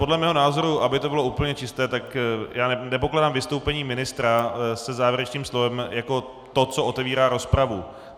Podle mého názoru, aby to bylo úplně čisté, tak já nepokládám vystoupení ministra se závěrečným slovem jako to, co otevírá rozpravu.